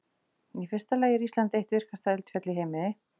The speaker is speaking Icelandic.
Í fyrsta lagi er Ísland eitt virkasta eldfjallaland í heimi.